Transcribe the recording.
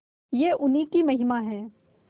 यह उन्हीं की महिमा है